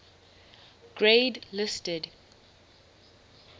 grade listed